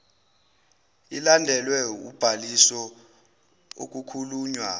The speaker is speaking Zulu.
ilandelwe ubhaliso okukhulunywa